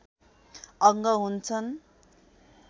अङ्ग हुन्छन्